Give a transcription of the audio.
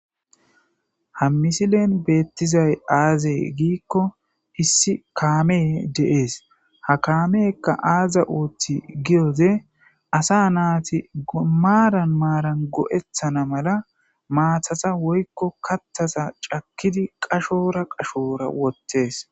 ha misilen beettizay aaze giikko hissi kaame deees ha kaamekka aaza ooththi giyoze asa naati maaran maaran go7ethana mala maathasa woykko kattasa cakkidi qashora qashoora wottees